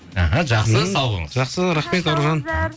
іхі жақсы сау болыңыз жақсы рахмет